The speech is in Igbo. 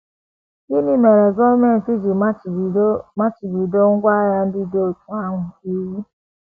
Gịnị mere gọọmenti ji machibido machibido ngwá agha ndị dị otú ahụ iwu?